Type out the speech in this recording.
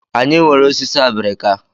Anyị nwere osisi obrika.